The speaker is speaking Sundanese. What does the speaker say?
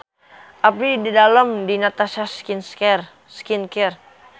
Abdi didamel di Natasha Skin Care